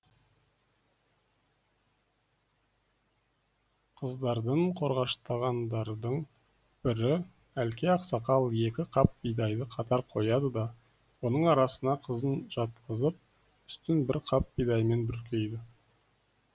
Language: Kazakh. қыздарын қорғаштағандардың бірі әлке ақсақал екі қап бидайды қатар қояды да оның арасына қызын жатқызып үстін бір қап бидаймен бүркейді